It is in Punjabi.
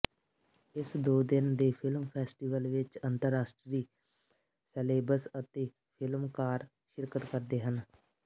ਇਸ ਦੋ ਦਿਨ ਦੇ ਫਿਲਮ ਫੈਸਟੀਵਲ ਵਿੱਚ ਅੰਤਰਰਾਸ਼ਟਰੀ ਸੈਲੇਬਸ ਅਤੇ ਫ਼ਿਲਮਕਾਰ ਸ਼ਿਰਕਤ ਕਰਦੇ ਹਨ